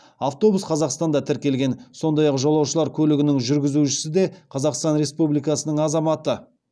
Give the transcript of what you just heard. автобус қазақстанда тіркелген сондай ақ жолаушылар көлігінің жүргізушісі де қазақстан республикасының азаматы